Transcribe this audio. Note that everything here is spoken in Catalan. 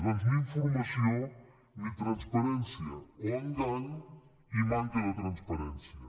doncs ni informació ni transparència o engany i manca de transparència